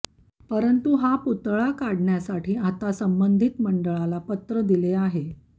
परंतू हा पुतळा काढण्यासाठी आता संबंधीत मंडळाला पत्रे दिले आहे